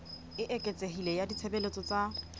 e eketsehileng ya ditshebeletso tsa